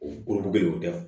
O dugu bɛ de y'o di yan